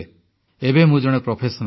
ଏବେ ମୁଁ ଜଣେ ପେସାଦାର